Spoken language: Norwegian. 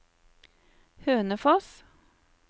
Hønefoss